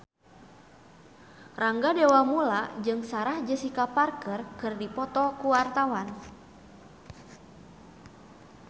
Rangga Dewamoela jeung Sarah Jessica Parker keur dipoto ku wartawan